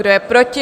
Kdo je proti?